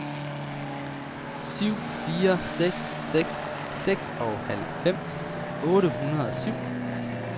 syv fire seks seks seksoghalvfems otte hundrede og syv